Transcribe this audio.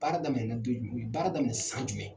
Baara daminɛ na don ju baara daminɛ san jumɛn.